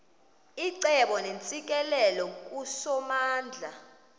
icebo neentsikelelo kusomandla